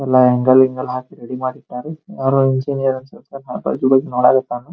ಎಲ್ಲ ಆಂಗಲ್ ಗಿಂಗ್ಲ್ ಹಾಕಿ ರೆಡಿ ಮಾಡಿ ಇಟ್ಟಿದ್ದಾರೆ ಯಾರೋ ಇಂಜಿನಿಯರ್ ಅನ್ಸುತ್ತೆ .